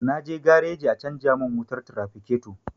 Na je gareji a canja mun wutar tirafiketo